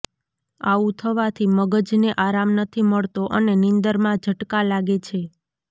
આવું થવાથી મગજ ને આરામ નથી મળતો અને નીંદર માં ઝટકા લાગે છે